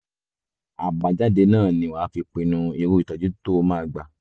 àbájáde náà ni wàá fi pinnu irú ìtọ́jú tó o máa gbà